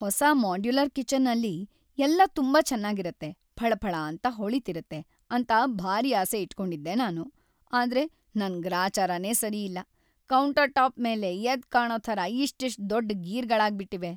ಹೊಸ modular kitchen ಅಲ್ಲಿ ಎಲ್ಲ ತುಂಬಾ ಚೆನ್ನಾಗಿರತ್ತೆ, ಫಳಫಳ ಅಂತ ಹೊಳಿತಿರತ್ತೆ ಅಂತ ಭಾರೀ ಆಸೆ ಇಟ್ಕೊಂಡಿದ್ದೆ ನಾನು, ಆದ್ರೆ ನನ್‌ ಗ್ರಾಚಾರನೇ ಸರಿಯಿಲ್ಲ, ಕೌಂಟರ್‌ ಟಾಪ್‌ ಮೇಲೆ ಎದ್ದ್‌ಕಾಣೋ ಥರ ಇಷ್ಟಿಷ್ಟ್‌ ದೊಡ್ಡ್‌ ಗೀರ್‌ಗಳಾಗ್ಬಿಟಿವೆ.